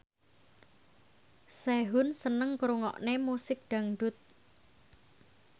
Sehun seneng ngrungokne musik dangdut